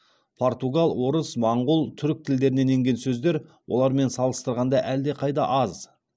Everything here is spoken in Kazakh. португал орыс моңғол түрік тілдерінен енген сөздер олармен салыстырғанда әлдеқайда аз